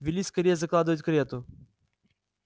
вели скорей закладывать карету